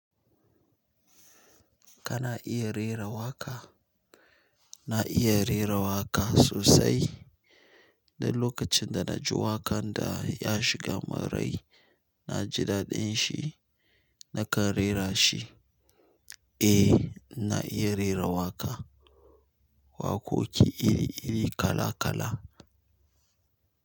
Kana iya rera waƙa? Na iya rera waƙa sosai. Duk lokacin da naji wakan da yashiga min rai naji dadinshi. Nakan rera shi. Eh, na iya rera waƙa. Waƙoƙi iri-iri kala-kala.